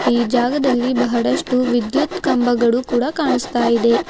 ಈ ಜಾಗದಲ್ಲಿ ಬಹಳಷ್ಟು ವಿದ್ಯುತ್ ಕಂಬಗಳು ಕೂಡ ಕಾಣಿಸ್ತಾ ಇದೆ.